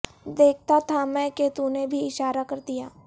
دیکھتا تھا میں کہ تو نے بھی اشارہ کر دیا